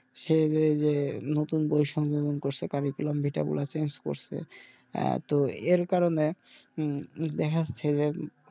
সে নতুন বৈষম্য করছে curicullam vita গুলা change করছে আহ তো এর কারনে উম দেখা যাচ্ছে যে,